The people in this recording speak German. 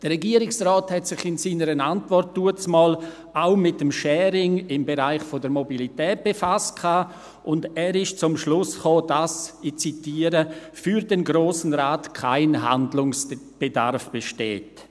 Der Regierungsrat hatte sich damals in seiner Antwort auch mit dem Sharing im Bereich der Mobilität befasst und kam zum Schluss– ich zitiere –, «dass für den Grossen Rat kein Handlungsbedarf besteht.